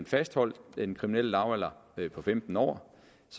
fastholde den kriminelle lavalder på femten år